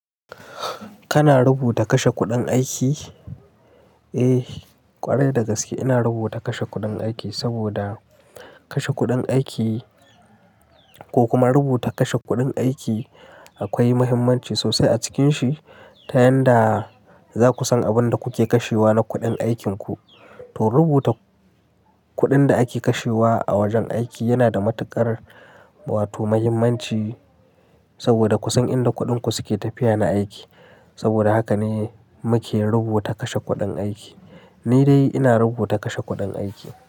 Kana rubuta kashe kuɗin aiki? Eh, ƙwarai dagaske ina rubuta kashe kuɗin aiki saboda kashe kuɗin aiki ko kuma rubuta kashe kuɗin aiki akwai muhimmanci sosai a cikinshi ta yanda zaku san abin da kuke kashewa na kuɗin aikinku. To rubuta kuɗin da ake kashewa a wajen aiki yana da matuƙar wato muhimmanci saboda kun san inda kuɗin ku suke tafiya na aiki. Saboda haka ne muke rubuta kashe kuɗin aiki. Ni dai ina rubuta kashe kuɗin aiki.